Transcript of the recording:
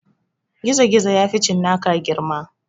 Gizogizo ya fi cinnaka girma